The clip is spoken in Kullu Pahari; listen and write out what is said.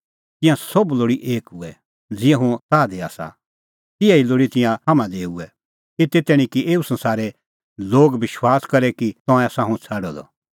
तिंयां सोभ लोल़ी एक हुऐ ज़िहअ हुंह ताह दी आसा तिहै ई लोल़ी तिंयां हाम्हां दी हुऐ एते तैणीं कि एऊ संसारे लोग विश्वास करे कि तंऐं आसा हुंह छ़ाडअ द